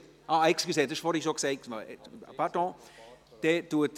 Entschuldigung, seitens der SiK-Minderheit wurde vorhin bereits etwas gesagt.